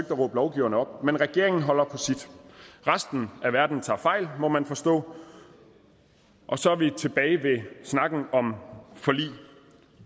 at råbe lovgiverne op men regeringen holder på sit resten af verden tager fejl må man forstå og så er vi tilbage ved snakken om forlig